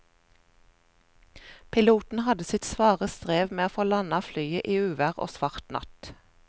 Piloten hadde sitt svare strev med å få landet flyet i uvær og svart natt.